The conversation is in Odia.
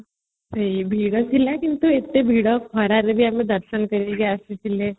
ସେ ଭିଡଥିଲା କିନ୍ତୁ ଏତ ଭିଡ ଖରା ବି ଆମେ ଦର୍ଶନ କରିକି ଆସିଥିଲେ